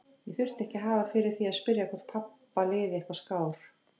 Ég þurfti ekki að hafa fyrir því að spyrja hvort pabba liði eitthvað skár.